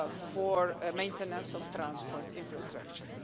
for maintenance of transport infrastructure.